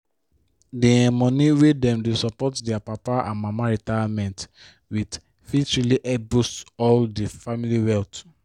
the um moni wey dem dey support their papa and mama retirement with fit really help boost all the family wealth